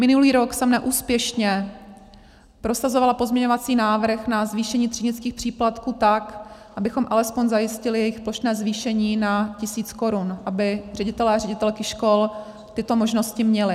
Minulý rok jsem neúspěšně prosazovala pozměňovací návrh na zvýšení třídnických příplatků tak, abychom alespoň zajistili jejich plošné zvýšení na tisíc korun, aby ředitelé a ředitelky škol tyto možnosti měli.